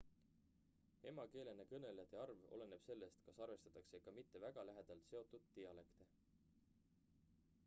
emakeelena kõnelejate arv oleneb sellest kas arvestatakse ka mitte väga lähedalt seotud dialekte